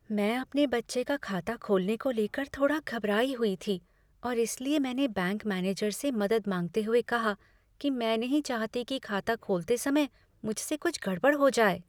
मैं अपने बच्चे का खाता खोलने को लेकर थोड़ा घबराई हुई थी और इसलिए मैंने बैंक मैनेजर से मदद माँगते हुए कहा कि मैं नहीं चाहती कि खाता खोलते समय मुझसे कुछ गड़बड़ हो जाए।